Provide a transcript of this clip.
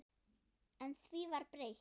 En því var breytt.